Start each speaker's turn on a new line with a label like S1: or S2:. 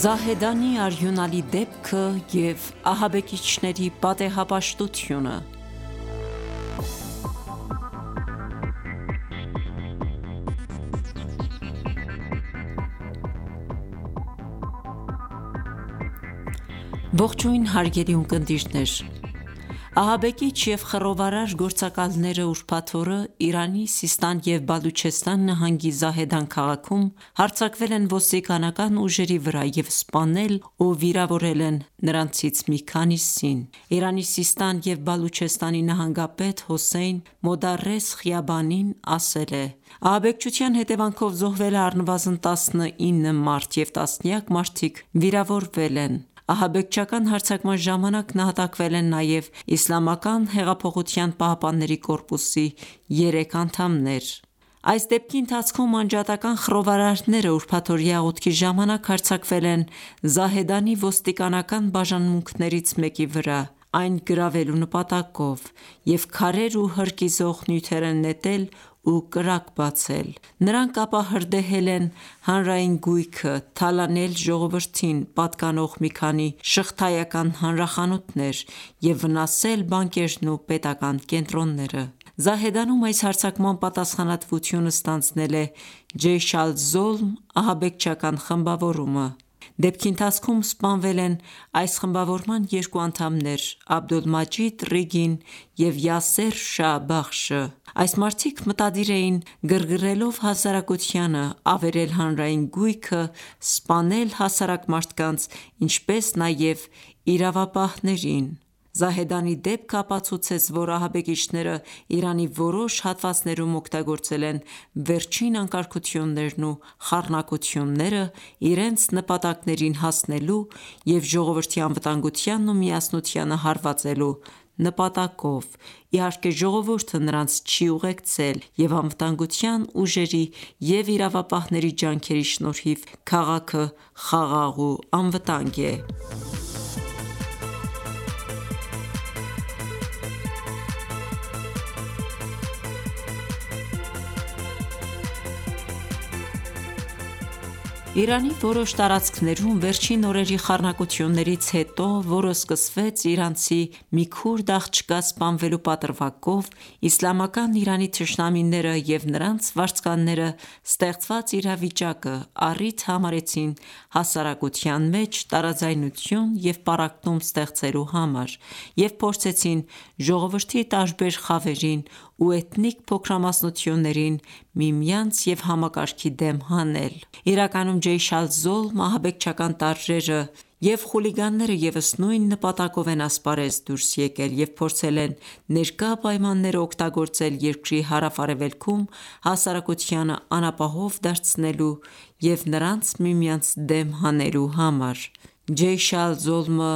S1: Զահեդանի արյունալի դեպքը և ահաբեկիչների պատեհապաշտությունը Ահաբեկիչ և խռովարար գործակալներն ուրբաթ օրը Իրանի Սիստան և Բալուչեստան նահանգի Զահեդան քաղաքում, հարձակվել են ոստիկանական ուժերի վրա և սպանել ու վիրավորել են նրանցից մի քանիսին։ Իրանի Սիստան և Բալուչեստանի նահանգապետ Հոսեյն Մոդարես Խիաբանին ասել է.«Ահաբեկչության հետևանքով զոհվել է առնվազն 19 մարդ և տասնյակ մարդիկ վիրավորվել են»։ Ահաբեկչական հարձակման ժամանակ նահատակվել են նաև Իսլամական հեղափոխության պահապանների կորպուսի երեք անդամներ։ Այս դեպքի ընթացքում անջատական ​​խռովարարները ուրբաթօրյա աղոթքի ժամանակ հարձակվել են Զահեդանի ոստիկանական բաժանմունքներից մեկի վրա, այն գրավելու նպատակով և քարեր ու հրկիզող նյութեր են նետել ու կրակ բացել: Նրանք ապա հրդեհել են հանրային գույքը, թալանել ժողովրդին պատկանող մի քանի շղթայական հանրախանութներ և վնասել բանկերն ու պետական կենտրոնները: Զահեդանում այս հարձակման պատասխանատվությունը ստանձնել է «Ջեյշ ալ-Զոլմ» ահաբեկչական խմբավորումը: Դեպքի ընթացքում սպանվել են այս խմբավորման երկու անդամներ՝ Աբդոլմաջիդ Ռիգին և Յասեր Շա Բախշը: Այս մարդիկ մտադիր էին գրգռելով հասարակությանը, ավերել հանրային գույքը ,սպանել հասարակ մարդկանց, ինչպես նաեւ իրավապահներին։ Զահեդանի դեպքը ապացուցեց ,որ ահաբեկիչներն Իրանի որոշ հատվածներում օգտագործել են վերջին անկարգություններն ու խառնակությունները՝ իրենց նպատակներին հասնելու եւ ժողովրդի անվտանգությանն ու միասնությանը հարվածելու նպատակով: Իհարկե, ժողովուրդը նրանց չի ուղեկցել և անվտանգության ուժերի և իրավապահների ջանքերի շնորհիվ քաղաքը խաղաղ ու անվտանգ է: Իրանի որոշ տարածքներում վերջին օրերի խառնակություններից հետո, որը սկսվեց իրանցի մի քուրդ աղջկա սպանվելու պատրվակով, Իսլամական Իրանի թշնամիները և նրանց վարձկանները ստեղծված իրավիճակը առիթ համարեցին հասարակության մեջ տարաձայնություն և պառակտում ստեղծելու համար և փորձեցին ժողովրդի տարբեր խավերին ու էթնիկ փոքրամասնություններին միմյանց և համակարգի դեմ հանել: Իրականում ,«Ջեյշ ալ-զոլմ»ահանբեկչական տարրերը և խուլիգանները ևս նույն նպատակով են ասպարեզ դուրս եկել և փորձել են ներկա պայմանները օգտագործել երկրի հարավ արևելքում հասարակությանը անապահով դարձնելու և նրանց միմյանց դեմ հանելու համար: Ջեյշ ալ-Ադլը (Ջեյշ ալ-Զոլմը)